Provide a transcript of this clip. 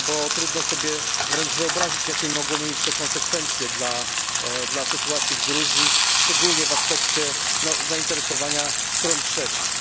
Trudno sobie wręcz wyobrazić, jakie mogłoby to mieć konsekwencje dla sytuacji w Gruzji, szczególnie w aspekcie zainteresowania stron trzecich.